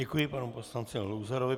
Děkuji panu poslanci Luzarovi.